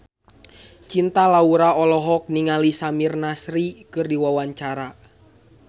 Cinta Laura olohok ningali Samir Nasri keur diwawancara